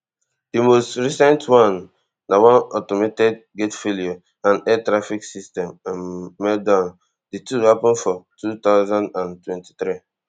di most recent one na one automated gate failure and air traffic system um meltdown di two happun for two thousand and twenty-three